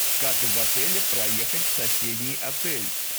как из отеля проехать в соседний отель